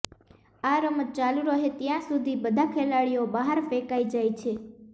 આ રમત ચાલુ રહે ત્યાં સુધી બધા ખેલાડીઓ બહાર ફેંકાઇ જાય છે